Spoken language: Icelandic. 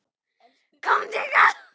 KOMDU HINGAÐ!